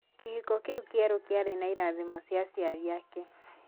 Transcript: Kĩhĩko kĩu kĩerũ kĩarĩ na ĩrathimo cia aciari ake.